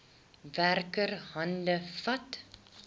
werker hande vat